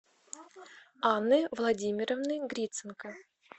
анны владимировны гриценко